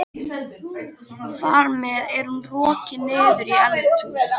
Þar með er hún rokin niður í eldhús.